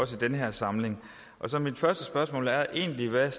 den her samling så mit første spørgsmål er egentlig hvad